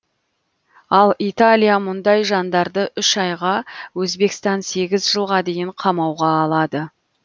ал италия мұндай жандарды үш айға өзбекстан сегіз жылға дейін қамауға алады